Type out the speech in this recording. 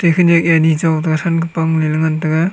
khewnek a ani chong tega than ke pang la lah.